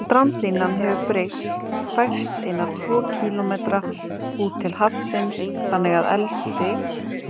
Strandlínan hefur breyst, færst eina tvo kílómetra út til hafsins, þannig að elsti